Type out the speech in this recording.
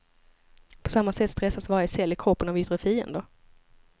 På samma sätt stressas varje cell i kroppen av yttre fiender.